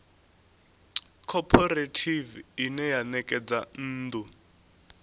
khophorethivi ine ya ṋekedza nnḓu